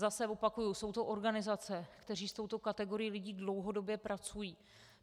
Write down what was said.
Zase opakuji, jsou to organizace, které s touto kategorií lidí dlouhodobě pracují.